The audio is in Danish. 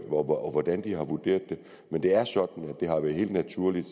på hvordan de har vurderet det men det er sådan at det har været helt naturligt